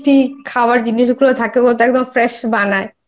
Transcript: জিনিস গুলো থাকে ও একদম Fresh বানায়।